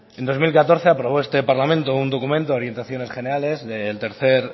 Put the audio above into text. en dos mil catorce aprobó este parlamento un documento de orientaciones generales del tercero